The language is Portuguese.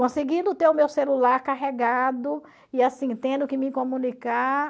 Conseguindo ter o meu celular carregado e assim, tendo que me comunicar...